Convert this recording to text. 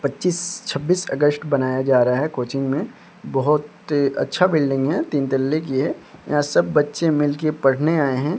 पच्चीस छब्बीस अगस्त बनाया जा रहा है कोचिंग में बहुत अच्छा बिल्डिंग है तीन तल्ले की है यहां सब बच्चे मिल के पढ़ने आए हैं।